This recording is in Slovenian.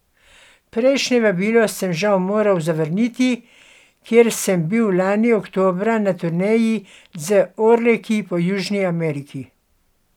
Prejšnje vabilo sem žal moral zavrniti, ker sem bil lani oktobra na turneji z Orleki po Južni Ameriki.